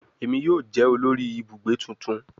Emi yoo jẹ olori ibugbe tuntun